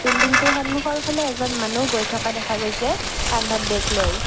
বিল্ডিংটোৰ সন্মুখৰ ফালে এজন মানুহ গৈ থকা দেখা গৈছে কান্ধত বেগ লৈ।